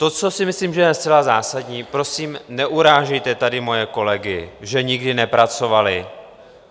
To, co si myslím, že je zcela zásadní, prosím, neurážejte tady moje kolegy, že nikdy nepracovali!